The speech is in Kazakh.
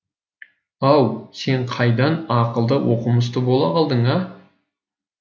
ау сен қайдан ақылды оқымысты бола қалдың а